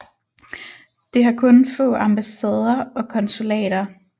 Det har kun få ambassader og konsulater